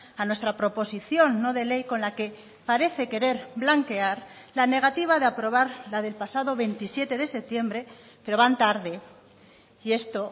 a nuestra proposición no de ley con la que parece querer blanquear la negativa de aprobar la del pasado veintisiete de septiembre pero van tarde y esto